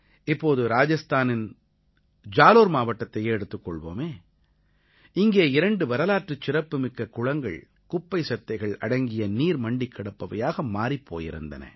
இப்போது ராஜஸ்தானத்தின் ஜாலோர் மாவட்டத்தையே எடுத்துக் கொள்வோமே இங்கே இரண்டு வரலாற்றுச் சிறப்புமிக்க குளங்கள் குப்பை செத்தைகள் அடங்கிய நீர் மண்டிக் கிடப்பவையாக மாறிப் போயிருந்தன